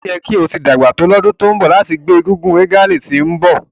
O yẹ ki o ti pọn to ni ọdun to nbọ lati jẹ ti ngbe egúngún regalia ti nbọ